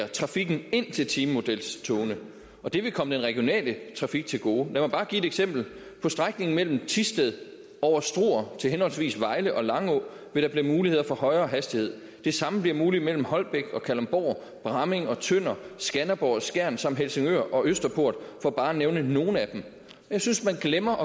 trafikken ind til timemodelstogene og det vil komme den regionale trafik til gode lad mig bare give et eksempel på strækningen mellem thisted over struer til henholdsvis vejle og langå vil der blive mulighed for højere hastighed og det samme bliver muligt mellem holbæk og kalundborg bramming og tønder skanderborg og skjern samt mellem helsingør og østerport for bare at nævne nogle af dem jeg synes at man glemmer